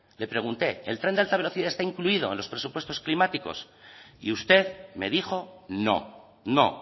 le pregunté el tren de alta velocidad está incluido en los presupuestos climáticos y usted me dijo no no